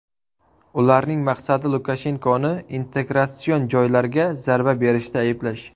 Ularning maqsadi Lukashenkoni integratsion jarayonlarga zarba berishda ayblash.